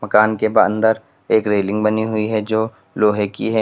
मकान के ब अंदर एक रेलिंग बनी हुई है जो लोहे की है।